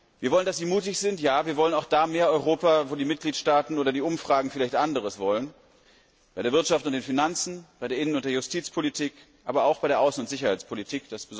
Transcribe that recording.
Wir wollen, dass Sie mutig sind, ja, wir wollen auch da mehr Europa, wo die Mitgliedstaaten oder die Umfragen vielleicht anderes wollen, bei der Wirtschaft und bei den Finanzen, bei der Innen und der Justizpolitik, aber auch bei der Außen und Sicherheitspolitik.